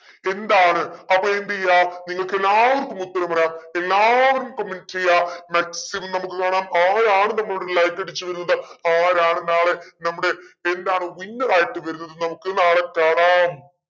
എന്താണ് അപ്പൊ എന്തെയ്യ നിങ്ങൾക്ക് എല്ലാവർക്കും ഉത്തരം പറയാം എല്ലാവർക്കും comment ചെയ്യാ maximum നമ്മക്ക് കാണാം ആരാണ് നമ്മോട് like അടിച്ചു എന്നുള്ളത് ആരാണ് നാളെ നമ്മുടെ എന്താണ് winner ആയിട്ട് വരുന്നത് എന്ന നമുക്ക് നാളെ കാണാം